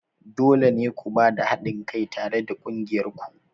Dole ne ku ba da haɗin kai tare da ƙungiyar ku!